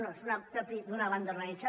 bé és propi d’una banda organitzada